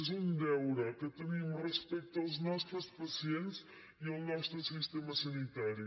és un deure que tenim respecte als nostres pacients i al nostre sistema sanitari